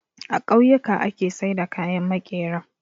A kauyuka ake saida kayan makera